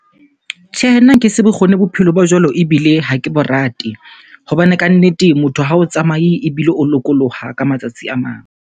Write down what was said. Tjhehe, nna nkese bokgoni bophelo ba jwalo ebile ha ke bo rate. Hobane kannete motho ha o tsamaye ebile o lokoloha ka matsatsi a mang.